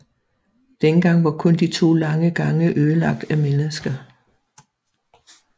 Dengang var kun de to lange gange ødelagt af mennesker